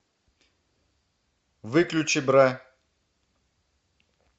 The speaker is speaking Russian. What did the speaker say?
выключи бра